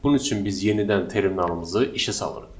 Bunun üçün biz yenidən terminalımızı işə salırıq.